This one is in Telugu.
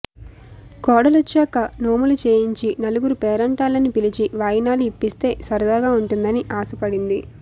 కోడలొచ్చాక నోములు చేయించి నలుగురు పేరంటాళ్లని పిలిచి వాయినాలు ఇప్పిస్తే సరదాగా వుంటుందని ఆశపడింది